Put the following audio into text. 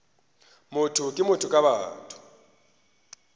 motho ke motho ka batho